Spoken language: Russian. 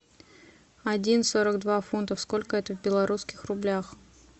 один сорок два фунта сколько это в белорусских рублях